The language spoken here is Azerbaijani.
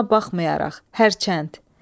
Buna baxmayaraq, hərçənd.